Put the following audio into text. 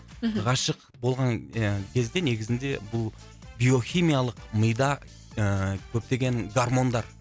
мхм ғашық болған ия кезде негізінде бұл биохимиялық мида ыыы көптеген гармондар